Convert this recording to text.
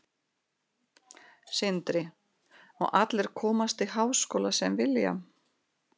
Sindri: Og allir komast í háskóla sem vilja?